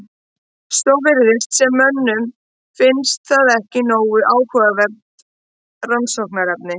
Svo virðist sem mönnum finnist það ekki nógu áhugavert rannsóknarefni.